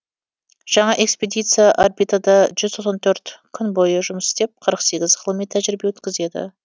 жаңа экспедиция орбитада жүз тоқсан төрт күн бойы жұмыс істеп қырық ғылыми тәжірибе өткізеді